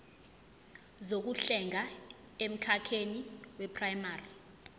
zokuhlenga emkhakheni weprayimari